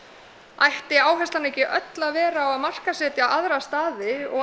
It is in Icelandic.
ætti áherslan ekki öll að vera á að markaðssetja aðra staði og